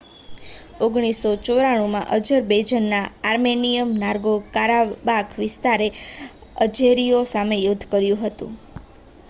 1994 માં, અઝરબૈજાનના Armenian Nagorno Karabakh વિસ્તારએ અઝેરીઓ સામે યુદ્ધ કર્યું હતું